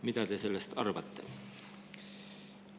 Mida te sellest arvate?